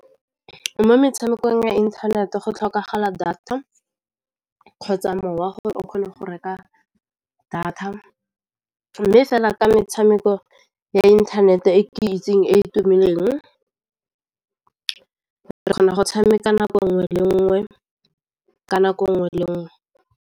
Mo metshamekong ya inthanete go tlhokagala data kgotsa mowa gore o kgone go reka data, mme fela ka metshameko ya internet e ke itseng e e tumileng re kgona go tshameka nako nngwe le nngwe ka nako nngwe le nngwe.